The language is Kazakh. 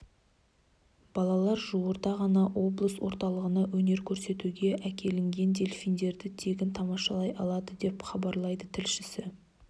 балалар жуырда ғана облыс орталығына өнер көрсетуге әкелінген дельфиндерді тегін тамашалай алады деп хабарлайды тілшісі